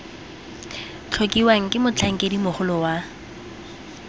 tlhokiwang ke motlhankedi mogolo wa